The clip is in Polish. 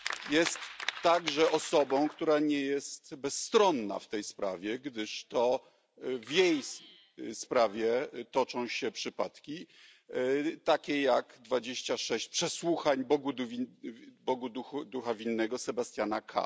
Jest także osobą, która nie jest bezstronna w tej sprawie, gdyż to w jej sprawie toczą się przypadki takie jak 26 przesłuchań Bogu ducha winnego Sebastiana K.,